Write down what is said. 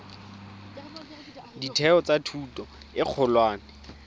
ditheo tsa thuto e kgolwane